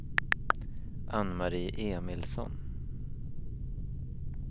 Ann-Marie Emilsson